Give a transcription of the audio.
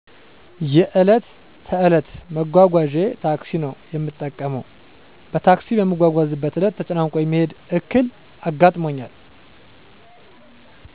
የዕለት ተዕለት መጓጓዣየ ታክሲ ነው የምጠቀመው። በታክሲ በምትጓዝበት ዕለት ተጨናንቆ የመሄድ ዕክል አጋጥሞኛል።